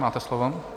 Máte slovo.